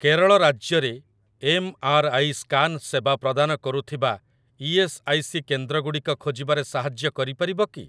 କେରଳ ରାଜ୍ୟରେ MRI scan ସେବା ପ୍ରଦାନ କରୁଥିବା ଇ.ଏସ୍. ଆଇ. ସି. କେନ୍ଦ୍ରଗୁଡ଼ିକ ଖୋଜିବାରେ ସାହାଯ୍ୟ କରିପାରିବ କି?